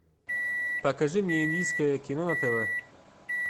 покажи мне индийское кино на тв